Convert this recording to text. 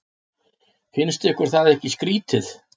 Finnst ykkur það ekki skrýtið?